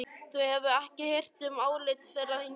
Þú hefur ekki hirt um álit þeirra hingað til.